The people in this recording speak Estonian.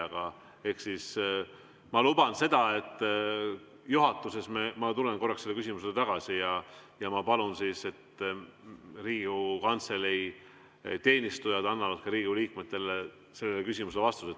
Aga ma luban, et juhatuses ma tulen korraks selle küsimuse juurde tagasi ja ma palun, et Riigikogu Kantselei teenistujad annavad Riigikogu liikmete sellele küsimusele vastuse.